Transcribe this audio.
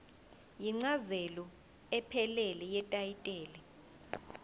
incazelo ephelele yetayitela